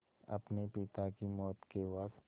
अपने पिता की मौत के वक़्त